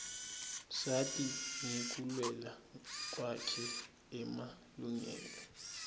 sati ngekulwela kwakhe emalungelo